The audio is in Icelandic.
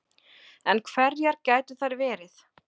En hverjar gætu þær verið